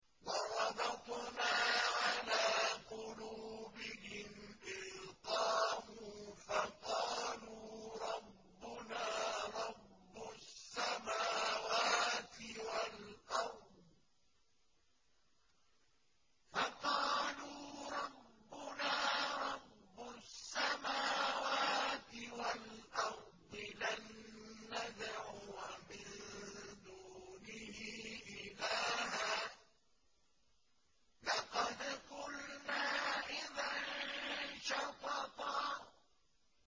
وَرَبَطْنَا عَلَىٰ قُلُوبِهِمْ إِذْ قَامُوا فَقَالُوا رَبُّنَا رَبُّ السَّمَاوَاتِ وَالْأَرْضِ لَن نَّدْعُوَ مِن دُونِهِ إِلَٰهًا ۖ لَّقَدْ قُلْنَا إِذًا شَطَطًا